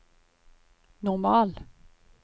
normal